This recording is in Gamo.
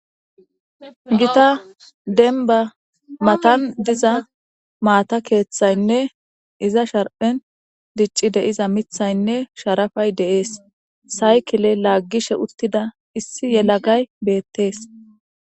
Giitta dembba matan diza maata keeththayinne iza sharphen dicci de'iza miiththayinne sharapay de'ees saaykile laaggishe uuttida issi yelagay beettees